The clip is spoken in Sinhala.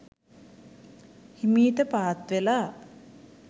හිමීට පාත්වෙලා